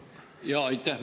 Aitäh!